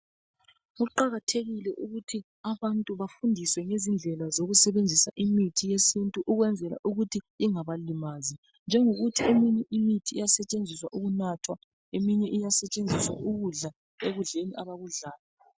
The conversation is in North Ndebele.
Kuqakathekile ukuthi abantu bafundiswe izindlela zokusebenzisa imithi yesintu ukuze ingabalimazi, njengokuthi eminye iyasetshenziswa ukunatha, eminye iyasetshenziswa ukudla ekudleni abakudlayo.